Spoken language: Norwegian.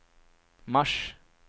mars